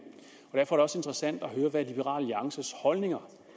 derfor er det også interessant at høre hvad liberal alliances holdninger